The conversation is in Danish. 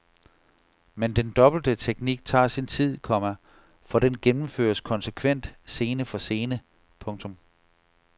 Men den dobbelte teknik tager sin tid, komma for den gennemføres konsekvent scene for scene. punktum